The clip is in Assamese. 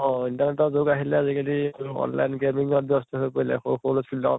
অহ internet ৰ যুগ আহিলে আজি কালি online gaming ত সৰু সৰু লʼ ছোৱালী বিলাকক